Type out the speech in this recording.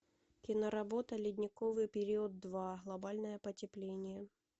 киноработа ледниковый период два глобальное потепление